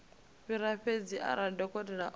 fhiwa fhedzi arali dokotela o